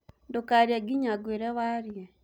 ndukaarĩe nginya ngũire waarie